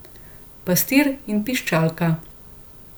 Pastir in piščalka.